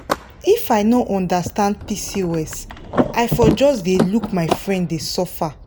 if i no understand pcos i for just dey look my friend dey suffer.